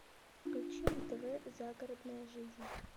включи на тв загородная жизнь